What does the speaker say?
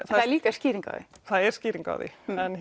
það er líka skýring á því það er skýring á því